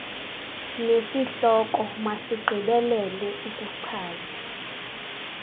nesihloko masigqibelele ukuchaza